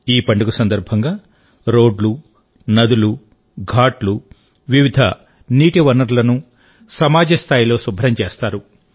ఈ పండుగ సందర్భంగా రోడ్లు నదులు ఘాట్లు వివిధ నీటి వనరులను సమాజ స్థాయిలో శుభ్రం చేస్తారు